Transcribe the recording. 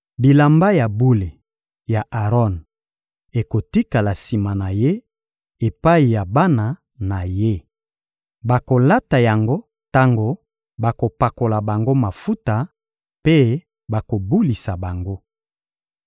Bilamba ya bule ya Aron ekotikala sima na ye epai ya bana na ye. Bakolata yango tango bakopakola bango mafuta mpe bakobulisa bango.